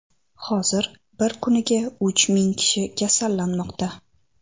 Hozir bir kuniga uch ming kishi kasallanmoqda.